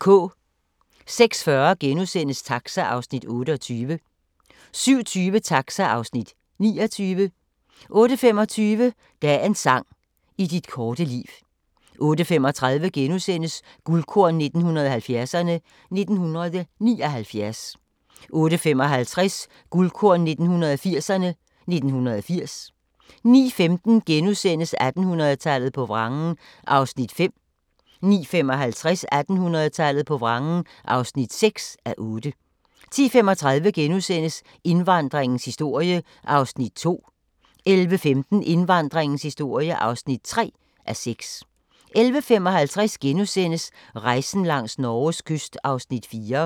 06:40: Taxa (Afs. 28)* 07:20: Taxa (Afs. 29) 08:25: Dagens sang: I dit korte liv 08:35: Guldkorn 1970'erne: 1979 * 08:55: Guldkorn 1980'erne: 1980 09:15: 1800-tallet på vrangen (5:8)* 09:55: 1800-tallet på vrangen (6:8) 10:35: Indvandringens historie (2:6)* 11:15: Indvandringens historie (3:6) 11:55: Rejsen langs Norges kyst (4:10)*